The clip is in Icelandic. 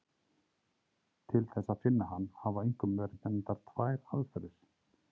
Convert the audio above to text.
Til þess að finna hann hafa einkum verið nefndar tvær aðferðir.